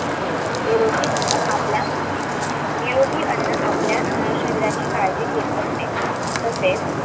निरोगी अन्न आपल्या निरोगी अन्न आपल्या शरीराची काळजी घेत असते तसेच